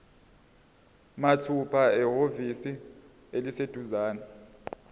mathupha ehhovisi eliseduzane